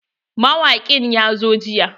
Mawaƙin ya zo jiya.